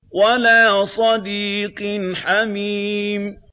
وَلَا صَدِيقٍ حَمِيمٍ